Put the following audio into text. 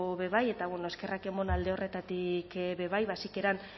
be bai eta bueno eskerrak emon alde horretatik be bai ba sikieran